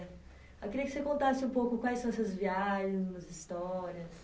Eu queria que você contasse um pouco quais são essas viagens, umas histórias...